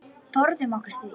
Forðum okkur því.